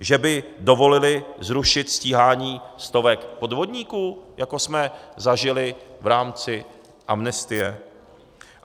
Že by dovolili zrušit stíhání stovek podvodníků, jako jsme zažili v rámci amnestie?